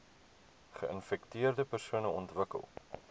geinfekteerde persone ontwikkel